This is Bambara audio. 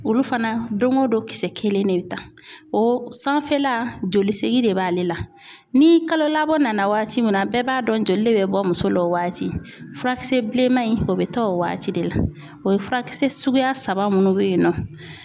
Olu fana don o don kisɛ kelen de bɛ ta o sanfɛla joli segin de b'ale la ni kalo labɔ nana waati min na bɛɛ b'a dɔn joli de bɛ bɔ muso la o waati furakisɛ bilenman in o bɛ ta o waati de la o ye furakisɛ suguya saba minnu bɛ yen nɔ.